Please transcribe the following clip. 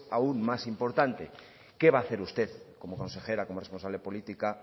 aún más importante qué va a hacer usted como consejera como responsable política